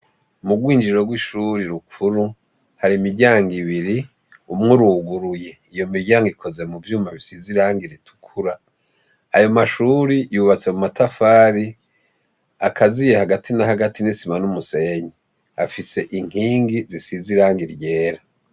M'ubwinjiriro bw'ishuri rukuru hari imiryango ibiri umw'uruguruye. Iyo miryango ikoze muvyuma bisize irangi ritukura, ayomashure yubatse mu matafari akaziye hagati na hagati n'isima n'umusenyi. Afise inkingi zisize irangi ryera.